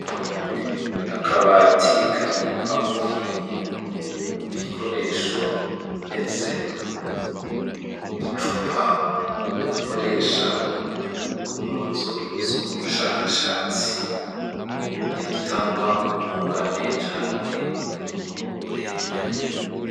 Akabatika kabikwamwo ibintu, ibikoresho bimeze nuducupa bakoresha mu nzu z'ubushakashatsi birutanwa ubwungane canke uburebure.